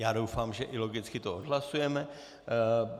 Já doufám, že i logicky to odhlasujeme.